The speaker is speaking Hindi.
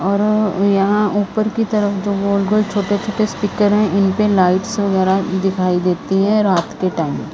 और यहां ऊपर की तरफ जो गोल-गोल छोटे-छोटे स्पीकर हैं इन पे लाइट्स वगैरह दिखाई देती हैं रात के टाइम।